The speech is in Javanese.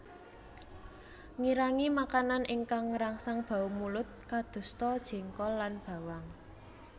Ngirangi makanan ingkang ngrangsang bau mulut kadosta jengkol lan bawang